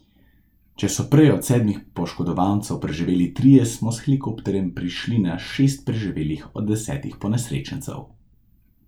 Če so prej od sedmih poškodovancev preživeli trije, smo s helikopterjem prišli na šest preživelih od desetih ponesrečencev.